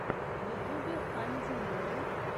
в ютубе хантин ворлд